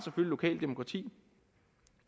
lokalt demokrati